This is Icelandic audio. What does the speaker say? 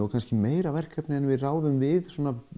kannski meira verkefni en við ráðum við